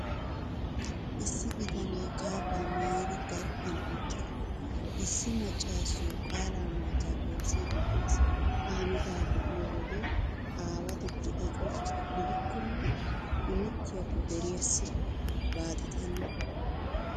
Issi bitanee kaabbaa maayidi daraphphan eqqid, issi maccaasiyoo qaalaa maachchaa gelissiiddi de'ees. Ha hanotaa be'iyo wode aawatetti aco gidikkonne, imettiyaakko deriyaassi baaxetana.